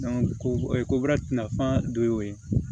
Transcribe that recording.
kobaara tina fanba dɔ ye o ye